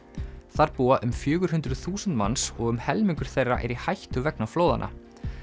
þar búa um fjögur hundruð þúsund manns og um helmingur þeirra er í hættu vegna flóðanna